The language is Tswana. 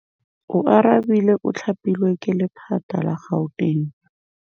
Oarabile o thapilwe ke lephata la Gauteng.